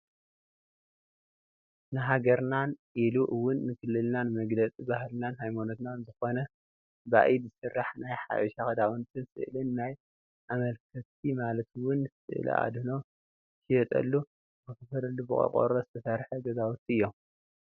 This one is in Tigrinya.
ንሃገርናን ኢሉ እውን ንክልልናን መግለፂ ባህልናን ሃይማኖትናን ዝኮነ ባኢድ ዝስራሕ ናይ ሓበሻ ክዳውንትን ስእልን ናይ ኣማልክቲ ማለት እውን ስእለ ኣድህኖ ዝሽየጠሉ ዝከፋፈለሉን ብቆርቆሮ ዝተሰርሑ ገዛውቲ እዮም::